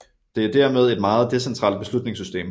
Det er dermed et meget decentralt beslutningssystem